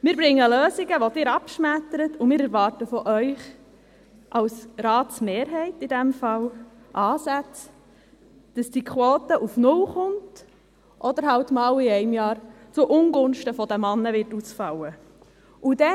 Wir bringen Lösungen, die Sie abschmettern, und wir erwarten in diesem Fall von Ihnen als Ratsmehrheit Ansätze, damit diese Quote auf null herunterkommt oder halt in einem Jahr mal zu Ungunsten der Männer ausfallen wird.